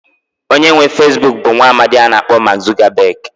Onye nwe Feesbuk bụ nwaamdi a na-akpọ Maak Zukabeg.